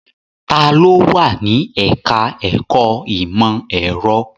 Ta ló wà ní ẹ̀ká ẹ̀kọ́ ìmọ̀ ẹ̀rọ?